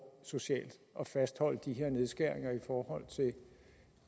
socialt at fastholde de her nedskæringer i forhold